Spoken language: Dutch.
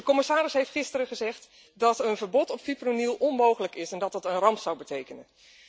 De commissaris heeft gisteren gezegd dat een verbod op fipronil onmogelijk is en dat het een ramp zou betekenen.